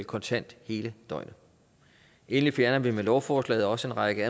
kontant hele døgnet endelig fjerner vi med lovforslaget også en række